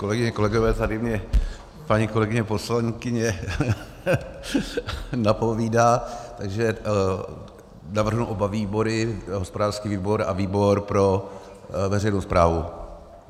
Kolegyně, kolegové, tady mně paní kolegyně poslankyně napovídá, takže navrhnu oba výbory: hospodářský výbor a výbor pro veřejnou správu.